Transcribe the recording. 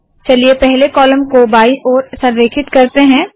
चलिए पहले कॉलम को बायी ओर संरेखित करते है